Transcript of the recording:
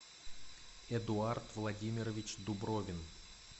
эдуард владимирович дубровин